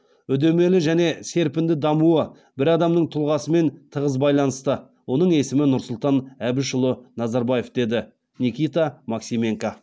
үдемелі және серпінді дамуы бір адамның тұлғасымен тығыз байланысты оның есімі нұрсұлтан әбішұлы назарбаев дейді никита максименко